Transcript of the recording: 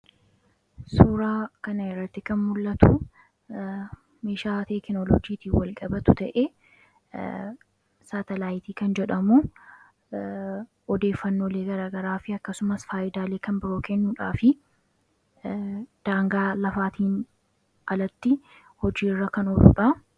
Suuraa kana irratti kan mul'atu, meeshaa teekinooloojiitiin wal qabatu ta'ee saatalaayitii kan jedhamu odeeffannoolee garaagaraa akkasuma illee fayidaa kan nuuf kennuudhaa fi daangaa lafaatiin alatti hojiirra kan ooludha.